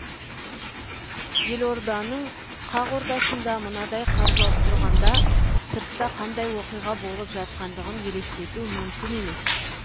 елорданың қақ ортасында мынадай қар жауып тұрғанда сыртта қандай оқиға болып жатқандығын елестету мүмкін емес